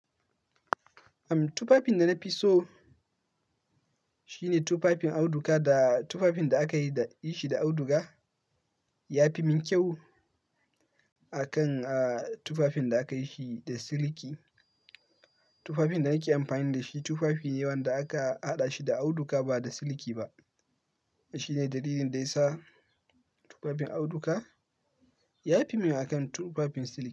Am, tufafin da na fi so shine tufafin auduga da tufafin da aka yi da ishi da auduga. Ya fi min kyau akan, ah, tufafin da aka yi shi da siliki. Tufafin da nake amfani da shi tufafi ne wanda aka haɗa shi da auduga ba da siliki ba. Shi ne dalilin da ya sa tufafin auduga ya fi min akan tufafin siliki.